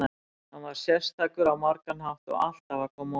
Hann var sérstakur á margan hátt og alltaf að koma á óvart.